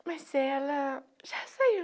Mas ela já saiu.